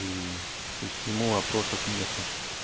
и то есть к нему вопросов нету